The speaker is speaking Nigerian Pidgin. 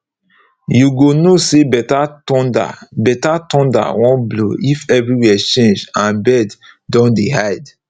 you go know say better thunder better thunder wan blow if everywhere change and bird don dey hide